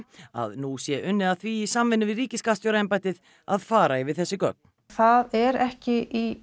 að nú sé unnið að því í samvinnu við ríkisskattstjóraembættið að fara yfir þessi gögn það er ekki í